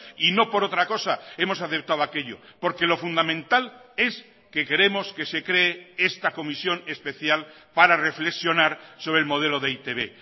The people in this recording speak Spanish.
y no por otra cosa hemos aceptado aquello porque lo fundamental es que queremos que se cree esta comisión especial para reflexionar sobre el modelo de e i te be